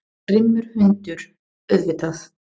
Grimmur hundur, auðvitað.